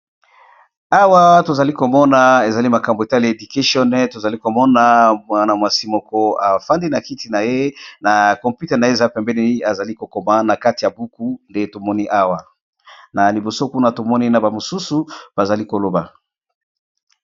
awa tozali komona ezali makambo etali education tozali komona mwanamwasi moko afandi na kiti na ye na kompute na ye eza pembeni ezali kokoma na kati ya buku nde tomoni awa na liboso kuna tomoni na bamosusu bazali koloba